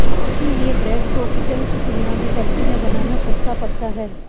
इसलिये ब्रेड को किचन की तुलना में फैक्टरी में बनाना सस्ता पड़ता है